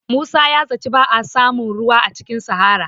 Musa ya zaci ba a samun ruwa a cikin sahara